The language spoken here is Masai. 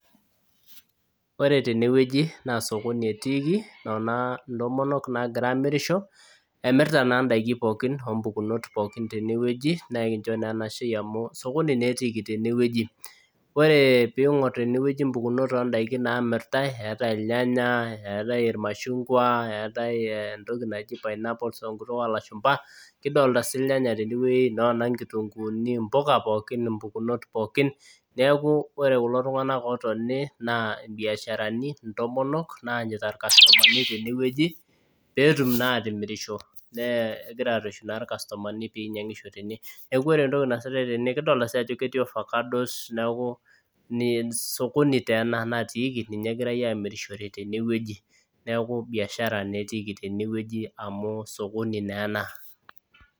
Ore tenewueji naa sokoni etiiki nona intomonok nagira amirisho emirrta naa indaiki pookin ompukonot pookin tenewueji nekincho naa enashei amu sokoni naa etiiki tenewueji ore ping'orr tenewueji impukunot ondaiki namirtae eetae ilnyanya eetae irmashungwa eetae entoki naji pineapples tenkutuk olashumpa kidolta sii ilnyanya tenewueji nona inkitunguuni impuka pookin impukunot pookin niaku ore kulo tung'anak otoni naa imbiasharani intomonok naanyita irkastomani tenewueji petum naa atimirisho nee egira arreshu naa irkastomani pinyiang'isho tene neku ore entoki naasitae tene kidolita sii ajo ketii ofakados neku ne sokoni taa ena natiiki ninye egirae amirishore tenewueji neku biashara netiki tenewueji amu sokoni naa ena.